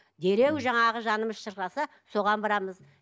дереу жаңағы жанымыз шырқыраса соған барамыз